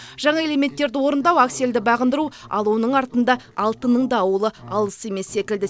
жаңа элементтерді орындау аксельді бағындыру ал оның артында алтынның да ауылы алыс емес секілді